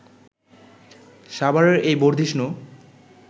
সাভারের এই বর্ধিষ্ণু